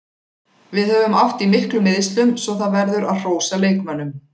Við höfum átt í miklum meiðslum svo það verður að hrósa leikmönnunum.